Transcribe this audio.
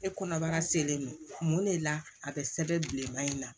E kɔnɔbara selen non mun de la a be sɛbɛn bilenman in na